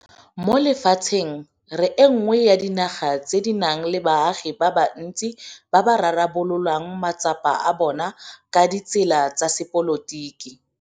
Mo lefatsheng re e nngwe ya dinaga tse di nang le baagi ba bantsi ba ba rarabololang matsapa a bona ka ditsela tsa sepolotiki.